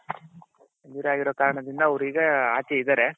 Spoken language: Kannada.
injury ಅಗಿರೋ ಕಾರಣದಿಂದ ಅವ್ರು ಈಗ ಆಚೆ ಇದಾರೆ